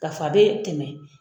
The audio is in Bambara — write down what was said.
K'a f'a bɛ tɛmɛ.